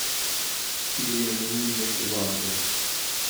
Štiri anonimne ovadbe.